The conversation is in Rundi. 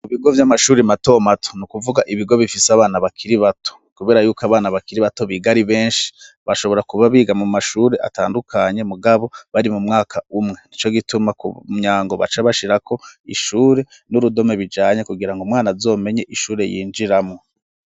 Mu bigo vy'amashuri matomato ni ukuvuga ibigo bifise abana bakiri bato, kubera yuko abana bakiri bato bigari benshi bashobora kuba biga mu mashure atandukanye mugabo bari mu mwaka umwe ni co gituma ku myango baca bashirako ishure n'urudome bijanye kugira ngo mwana azomenye ishure yinjiramwo.